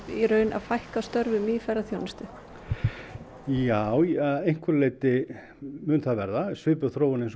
í raun að fækka störfum í ferðaþjónustu já að einhverju leyti mun það verða svipuð þróun og